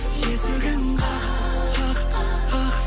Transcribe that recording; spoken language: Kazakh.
есігін қақ қақ қақ